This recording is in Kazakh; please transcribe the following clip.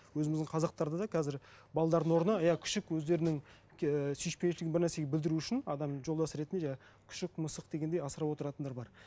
өзіміздің қазақтарда да қазір орнына иә күшік өздерінің ііі сүйіспеншілігін бірнәрсеге білдіру үшін адам жолдасы ретінде жаңа күшік мысық дегендей асырап отыратындар бар